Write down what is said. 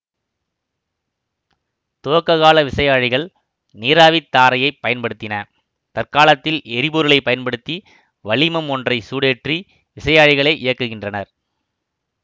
துவக்க கால விசையாழிகள் நீராவித் தாரையைப் பயன்படுத்தின தற்காலத்தில் எரிபொருளை பயன்படுத்தி வளிமம் ஒன்றை சூடேற்றி விசையாழிகளை இயக்குகின்றனர்